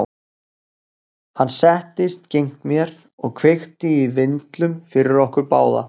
Hann settist gegnt mér og kveikti í vindlum fyrir okkur báða.